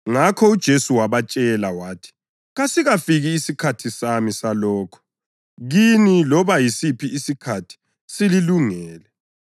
Ngakho uJesu wabatshela wathi, “Kasikafiki isikhathi sami salokho; kini loba yisiphi isikhathi sililungele.